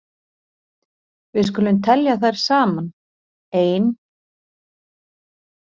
Við skulum telja þær saman: Ein.